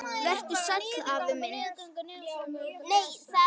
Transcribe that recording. Vertu sæll, afi minn.